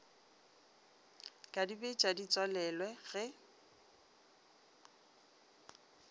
ka dibetša di tswalelwe ge